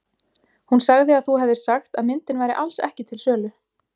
Hún sagði að þú hefðir sagt að myndin væri alls ekki til sölu.